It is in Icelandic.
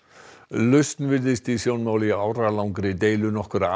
lausn virðist vera í sjónmáli í áralangri deilu nokkurra